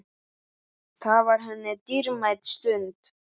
Það var henni dýrmæt stund.